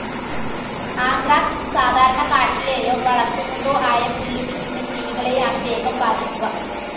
Anthrax സാധാരണ കാട്ടിലേയോ വളർത്തുന്നതോ ആയപുല്ലുതിന്നുന്ന ജീവികളെയാണു വേഗം ബാധിക്കുക.